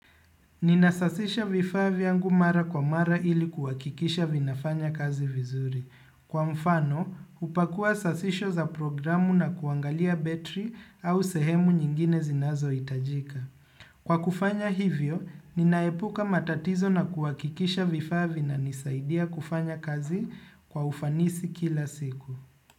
Ninasasisha vifaa vyangu mara kwa mara ili kuhakikisha vinafanya kazi vizuri. Kwa mfano, hupakua sasisho za programu na kuangalia betri au sehemu nyingine zinazohitajika. Kwa kufanya hivyo, ninaepuka matatizo na kuwakikisha vifavi na nisaidia kufanya kazi kwa ufanisi kila siku.